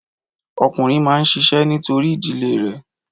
Ọkùnrin máa ń ṣiṣẹ́ nítorí ìdílé rè